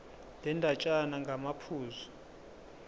le ndatshana ngamaphuzu